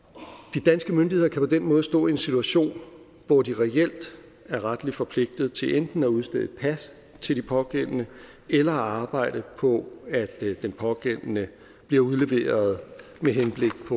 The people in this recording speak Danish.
de danske myndigheder kan på den måde stå i en situation hvor de reelt er retligt forpligtet til enten at udstede et pas til den pågældende eller at arbejde på at den pågældende bliver udleveret med henblik